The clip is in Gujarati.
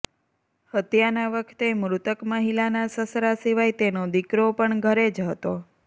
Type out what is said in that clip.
હત્યાના વખતે મૃતક મહિલાના સસરા સિવાય તેનો દિકરો પણ ઘરે જ હતો